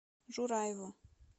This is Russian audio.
жураеву